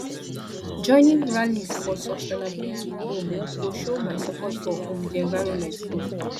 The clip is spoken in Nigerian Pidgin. joining rallies for sustainability um go show my support for um di environment um